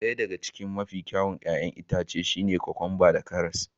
Ɗaya daga cikin 'ya'yan itace mafi kyau a fata shine kokwamba da karas.